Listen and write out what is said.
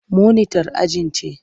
Monitar ajin ce.